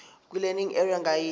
kwilearning area ngayinye